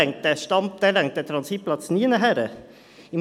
Dann reicht dieser Transitplatz hinten und vorne nicht.